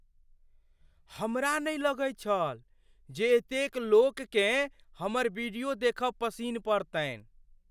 हमरा नहि लगैत छल जे एतेक लोककेँ हमर वीडियो देखब पसिन पड़तनि।